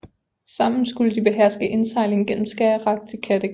Sammen skulle de beherske indsejlingen gennem Skagerrak til Kattegat